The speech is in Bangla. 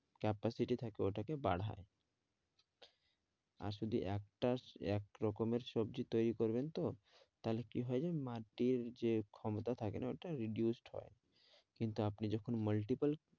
Capacity থাকে ওটাকে বাড়ায় আসলে একটা এক রকমের সবজি তৈরী করবেনতো তাহলে কি হয় যে মাটির যে ক্ষমতা থাকে না ওটা reduced হয় কিন্তু আপনি যখন multiple